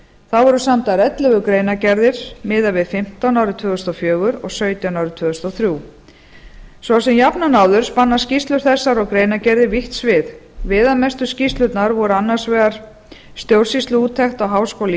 þá voru samdar ellefu greinargerðir miðað við fimmtán árið tvö þúsund og fjögur og sautján árið tvö þúsund og þrjú svo sem jafnan áður spanna skýrslur þessar og greinargerðir vítt svið viðamestu skýrslurnar voru annars vegar stjórnsýsluúttekt á háskóla